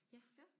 Ja